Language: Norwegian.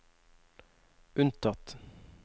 unntatt